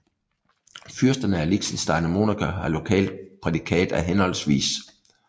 Fyrsterne af Liechtenstein og Monaco har lokalt prædikat af hhv